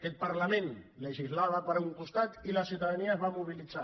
aquest parlament legislava per un costat i la ciutadania es va mobilitzar